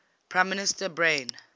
prime minister brian